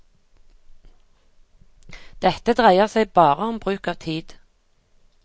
Dette dreier seg bare om bruk av tid.